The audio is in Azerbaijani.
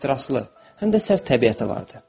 Ehtiraslı, həm də sərt təbiəti var idi.